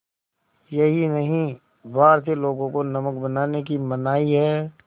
यही नहीं भारतीय लोगों को नमक बनाने की मनाही है